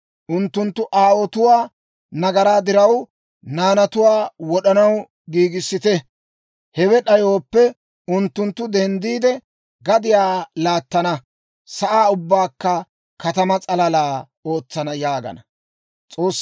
Unttunttu aawotuwaa nagaraa diraw, naanatuwaa wod'anaw giigissite; hewe d'ayooppe unttunttu denddiide, gadiyaa laattana; sa'aa ubbaakka katamaa sallalaa ootsana» yaagana.